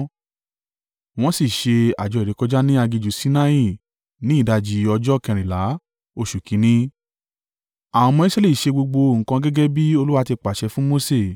Wọ́n sì ṣe àjọ ìrékọjá ní aginjù Sinai ní ìdajì ọjọ́ kẹrìnlá oṣù kìn-ín-ní. Àwọn ọmọ Israẹli ṣe gbogbo nǹkan gẹ́gẹ́ bí Olúwa ti pàṣẹ fún Mose.